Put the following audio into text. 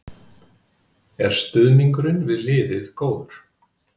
Er stuðningurinn við liðið góður?